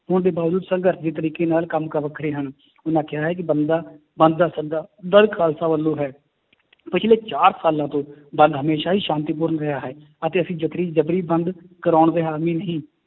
ਹੋਣ ਦੇ ਬਾਵਜੂਦ ਸੰਘਰਸ਼ ਦੇ ਤਰੀਕੇ ਨਾਲ ਕੰਮ ਕਾਰ ਵੱਖਰੇ ਹਨ ਉਹਨਾਂ ਕਿਹਾ ਹੈ ਕਿ ਬੰਦਾ ਬੰਦ ਦਾ ਸੱਦਾ ਦਲ ਖਾਲਸਾ ਵੱਲੋਂ ਹੈ ਪਿੱਛਲੇ ਚਾਰ ਸਾਲਾਂ ਤੋਂ ਬੰਦ ਹਮੇਸ਼ਾ ਹੀ ਸ਼ਾਂਤੀਪੂਰਨ ਰਿਹਾ ਹੈ, ਅਤੇ ਅਸੀਂ ਜ਼ਬਰੀ ਬੰਦ ਕਰਾਉਣ ਦੇ ਹਾਮੀ ਨਹੀਂ